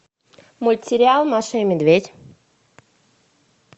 мультсериал маша и медведь